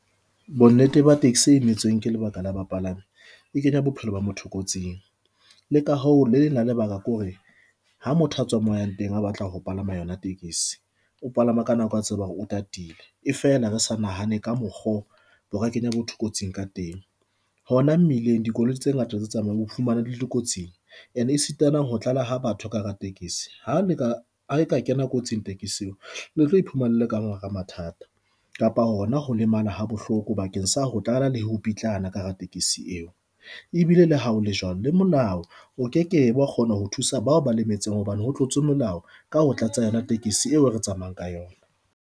Bonnete ba tekesi imetsweng ka lebaka la ba palame e kenya bophelo ba motho kotsing le ka ho le leng la lebaka ke hore ha motho a tswa mo yang teng a batla ho palama yona, o palama ka nako a tseba hore o tatile e fela re sa nahane ka mokgo bo ka kenya motho kotsing ka teng, hona mmileng dikoloi tse ngata tse tsamayang ho fumana le kotsing and e sitana ho tlala ha batho ka hara tekesi ha le ka ha e ka kena kotsing tekesi eo le tlo iphumana le le ka hara mathata kapa hona ho lemala ha bohloko bakeng sa ho tlala le ho pitlana ka hara tekesi eo. E bile le ha o le jwalo le molao, o ke ke wa kgona ho thusa bao ba lemetseng hobane ho tlotse molao ka ho tlatsa tekesi yona eo re tsamayang ka yona.